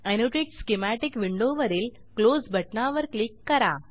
annotate schematic विंडोवरील close बटणावर वर क्लिक करा